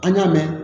An y'a mɛn